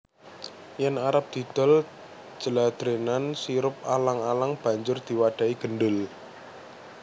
Yen arep didol jladrenan sirup alang alang banjur diwadhahi gendul